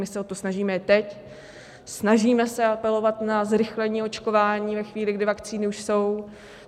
My se o to snažíme i teď, snažíme se apelovat na zrychlení očkování ve chvíli, kdy vakcíny už jsou.